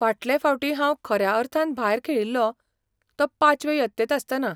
फाटले फावटी हांव खऱ्या अर्थान भायर खेळिल्लों तो पांचवे यत्तेंत आसतना .